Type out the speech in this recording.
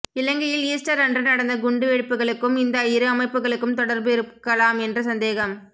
இலங்கையில் ஈஸ்டர் அன்று நடந்த குண்டுவெடிப்புகளுக்கும் இந்த இரு அமைப்புகளுக்கும் தொடர்பு இருக்கலாம் என்ற சந்தேகம்